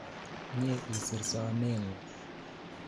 Mie isir somet ng'ung'